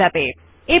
Underline এ click করুন